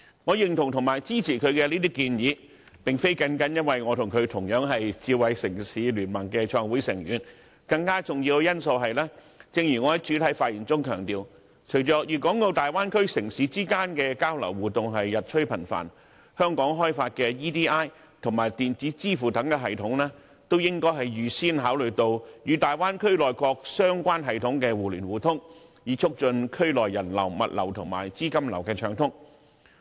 我認同和支持她的建議，並非單單由於我和她同樣是智慧城市聯盟的創會成員，更重要的因素是，正如我在開場發言時強調，隨着大灣區城市之間的交流、互動日趨頻繁，香港開發的 eID 及電子支付等系統，也應預先考慮與大灣區內各相關系統的互聯互通，以促進區內人流、物流和資金流的暢通。